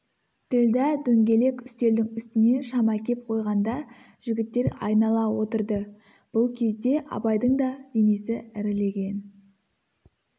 ділдә дөңгелек үстелдің үстіне шам әкеп қойғанда жігіттер айнала отырды бұл кезде абайдың да денесі ірілеген